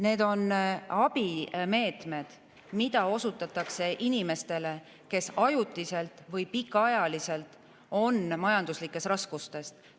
Need on abimeetmed, mida osutatakse inimestele, kes ajutiselt või pikaajaliselt on majanduslikes raskustes.